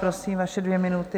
Prosím, vaše dvě minuty.